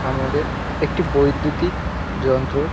আমাদের একটি বৈদ্যতিক যন্ত্রর --